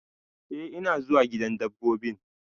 Eh, ina zuwa gidan dabbobin.